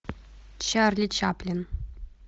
чарли чаплин